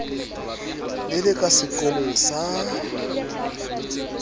le le ka sekotlong sa